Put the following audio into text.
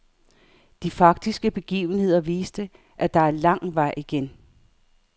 De faktiske begivenheder viste, at der er lang vej igen.